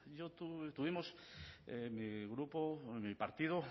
tuvimos mi grupo mi partido